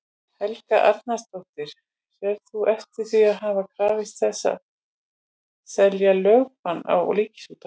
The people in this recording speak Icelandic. Helga Arnardóttir: Sérð þú eftir því að hafa krafist þess að setja lögbann á Ríkisútvarpið?